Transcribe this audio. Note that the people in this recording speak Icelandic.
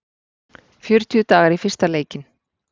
Fjörutíu dagar í fyrsta leikinn